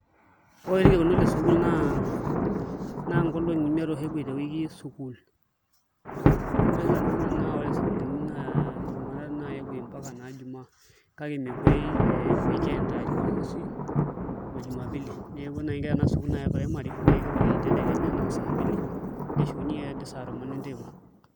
Ore oshi irkekuno le sukuul naa nkolong'i imiet oshi epuoi te wiki sukuul amu ore oshi sani sana naa ore sukuulini naa jumatatu naa epuoi mpaka naa jumaa kake mepuoi weekend aa jumamosi o jumapili neeku ore naai ena sukuul e primary naa kepuoi tedekenya noo saa mbili neshukunyiei ake ajo noo saa tomon enteiba.